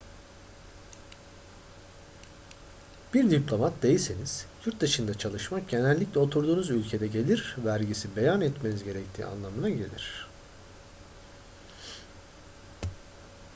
bir diplomat değilseniz yurt dışında çalışmak genellikle oturduğunuz ülkede gelir vergisi beyan etmeniz gerektiği anlamına gelir